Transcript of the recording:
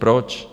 Proč?